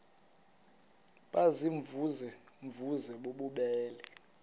baziimvuze mvuze bububele